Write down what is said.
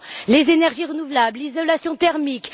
ils? Les énergies renouvelables, l'isolation thermique.